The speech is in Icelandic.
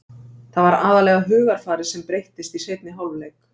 Það var aðallega hugarfarið sem breyttist í seinni hálfleik.